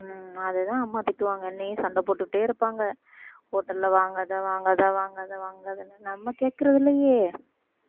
அதுதான் அம்மா திட்டுவாங்க என்னைய சண்டை போட்டுக்கிட்டே இருப்பாங்க hotel ல வாங்காத வாங்காத வாங்காத வாங்காதன்னு நம்ம கேக்குறது இல்லையே